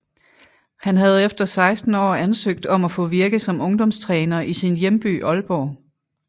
Han havde efter 16 år ansøgt om at få virke som ungdomstræner i sin hjemby Aalborg